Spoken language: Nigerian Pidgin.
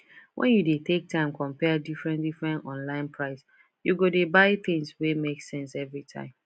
when you dey take time compare differentdifferent online price you go dey buy things wey make sense every time